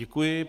Děkuji.